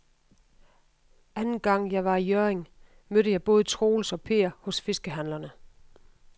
Anden gang jeg var i Hjørring, mødte jeg både Troels og Per hos fiskehandlerne.